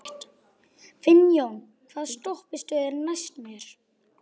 Finnjón, hvaða stoppistöð er næst mér?